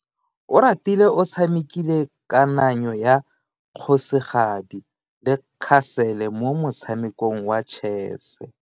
Oratile o tshamekile kananyo ya kgosigadi le khasele mo motshamekong wa chess.